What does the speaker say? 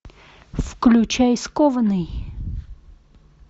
включай скованный